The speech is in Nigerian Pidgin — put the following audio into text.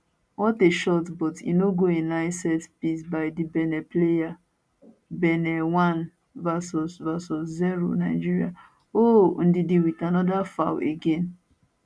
what a shotbut e no go in nice set piece by di benin player benin 1 vs vs 0 nigeria ohhhhhhh ndidi wit anoda foul again